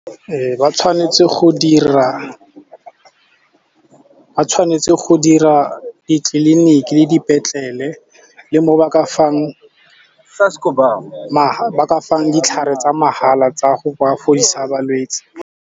Ba tshwanetse go dira ditleliniki le dipetlele le mo ba ka fang ditlhare tsa mahala tsa go ka fodisa balwetsi.